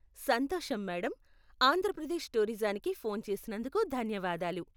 సంతోషం మేడమ్, ఆంధ్రప్రదేశ్ టూరిజానికి ఫోన్ చేసినందుకు ధన్యవాదాలు.